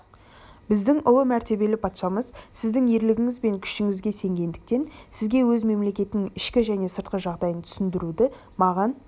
біздің ұлы мәртебелі патшамыз сіздің ерлігіңіз бен күшіңізге сенгендіктен сізге өз мемлекетінің ішкі және сыртқы жағдайын түсіндіруді маған